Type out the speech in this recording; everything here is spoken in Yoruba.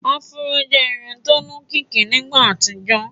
afro jẹ Irun tó ní òkìkí nígbà àtijọ